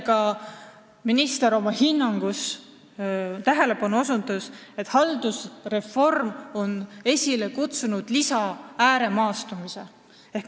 Ka minister osutas tähelepanu sellele, et haldusreform on esile kutsunud täiendava ääremaastumise.